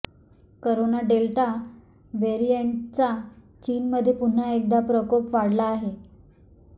corona delta व्हेरिएंटचा चीनमध्ये पुन्हा एकदा प्रकोप वाढला आहे